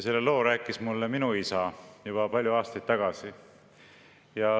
Selle loo rääkis mulle minu isa juba palju aastaid tagasi.